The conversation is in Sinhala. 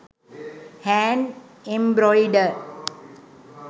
hand embroider